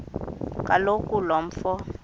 kaloku lo mfo